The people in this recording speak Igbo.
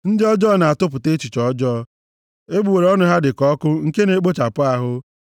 Ndị ọjọọ na-atụpụta echiche ọjọọ, egbugbere ọnụ ha dị ka ọkụ nke na-ekpochapụ ahụ.